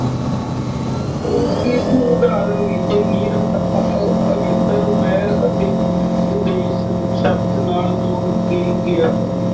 ਉਹ ਕਿਸ ਉਦਾਹਰਨ ਵਿੱਚ ਨਿਰ ਅ ਅਗੇਤਰ ਵੈਰ ਅਤੇ ਉਦੇਸ਼ ਸ਼ਬਦ ਨਾਲ ਜੋੜ ਕੇ ਗਿਆ ਹੈ।